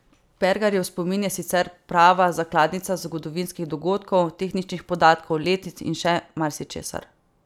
Pergarjev spomin je sicer prava zakladnica zgodovinskih dogodkov, tehničnih podatkov, letnic in še marsičesa.